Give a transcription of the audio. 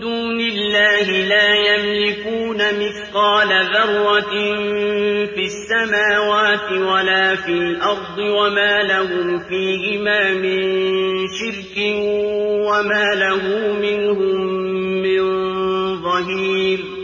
دُونِ اللَّهِ ۖ لَا يَمْلِكُونَ مِثْقَالَ ذَرَّةٍ فِي السَّمَاوَاتِ وَلَا فِي الْأَرْضِ وَمَا لَهُمْ فِيهِمَا مِن شِرْكٍ وَمَا لَهُ مِنْهُم مِّن ظَهِيرٍ